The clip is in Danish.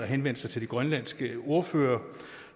henvendt sig til de grønlandske ordførere og